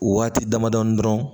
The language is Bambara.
Waati damadɔ dɔrɔn